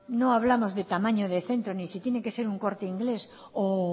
no hablamos de tamaño de centro ni si tiene que ser un corte inglés o